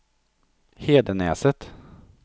Hedenäset